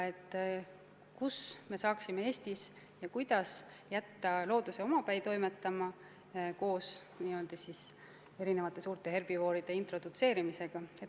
Ehk me saaksime Eestis kuidagimoodi jätta looduse omapäi toimetama, introdutseerides siia erinevaid suuri herbivoore.